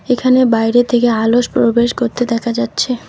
এখানে বাইরের থেকে আলোস প্রবেশ করতে দেখা যাচ্ছে।